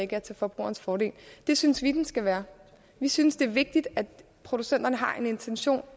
er til forbrugernes fordel det synes vi den skal være vi synes det er vigtigt at producenterne har en intention